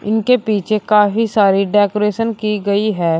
इनके पीछे काफी सारी डेकोरेशन की गई है।